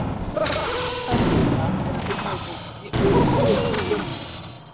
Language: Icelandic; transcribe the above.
Gott dæmi um það er að finna í bókinni Voru guðirnir geimfarar?